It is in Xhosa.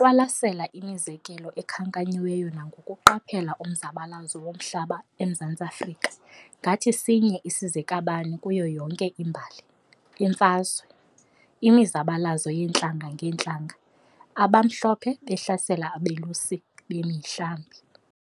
qwalasela imizekelo ekhankanyiweyo nangokuqaphela umzabalazo womhlaba eMzantsi Afrika ngathi sinye isizekabani kuyo yonke imbali, "iimfazwe" imizabalazo yeentlanga ngeentlanga - abaMhlophe behlasela abelusi bemihlambi.